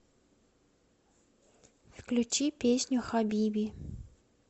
включи песню хабиби